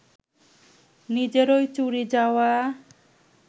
নিজেরই চুরি যাওয়া